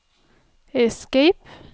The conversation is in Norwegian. escape